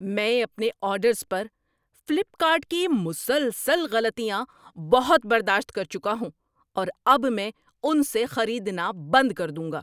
میں اپنے آرڈرز پر فلپ کارٹ کی مسلسل غلطیاں بہت برداشت کر چکا ہوں اور اب میں ان سے خریدنا بند کر دوں گا۔